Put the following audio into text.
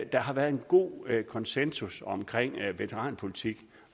der har været en god konsensus om veteranpolitik